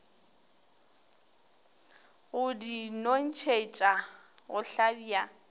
go di nontšhetša go hlabja